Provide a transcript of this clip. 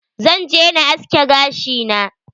Zan je na aske gashi na.